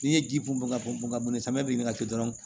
N'i ye ji bɔn ka bɔn ka bɔn samiya bin ka to dɔrɔn